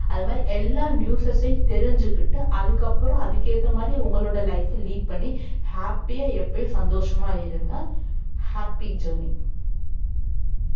அது மாதிரி எல்லா news சையும் தெரிஞ்சுகிட்டு அதுக்கப்புறம் அதுக்கேத்த மாதிரி உங்களோட life அ lead பண்ணி happy ஆ எப்பயும் சந்தோஷமா இருங்க happy journey